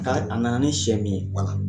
ka a na na ni sɛ min ye wala.